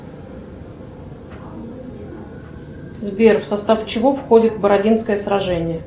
сбер в состав чего входит бородинское сражение